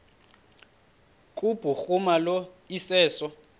kubhuruma lo iseso